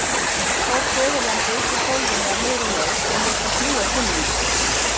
Tók föðurlandið upp úr gólfinu á miðri leið og lét það fljúga til mín.